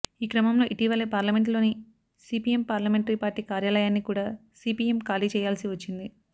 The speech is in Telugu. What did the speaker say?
ఈ క్రమంలో ఇటీవలే పార్లమెంటులోని సీపీఎం పార్లమెంటరీ పార్టీ కార్యాలయాన్ని కూడా సీపీఎం ఖాళీ చేయాల్సి వచ్చింది